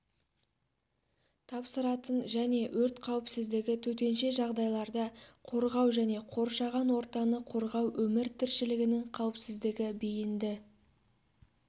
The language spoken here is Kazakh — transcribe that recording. тапсыратын және өрт қауіпсіздігі төтенше жағдайларда қорғау және қоршаған ортаны қорғау өмір тіршілігінің қауіпсіздігі бейінді